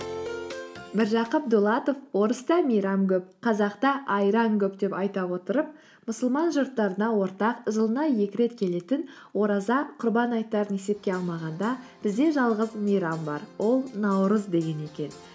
міржақып дулатов орыста мейрам көп қазақта айран көп деп айта отырып мұсылман жұрттарына ортақ жылына екі рет келетін ораза құрбан айттарын есепке алмағанда бізде жалғыз мейрам бар ол наурыз деген екен